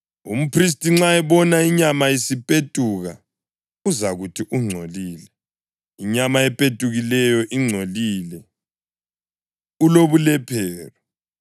Umphristi nxa ebona inyama isipetuka uzakuthi ungcolile. Inyama epetukileyo ingcolile; ulobulephero.